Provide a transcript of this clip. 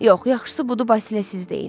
Yox, yaxşısı budur Basilə siz deyin.